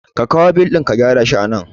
Ka kawo bil ɗin ka shi anan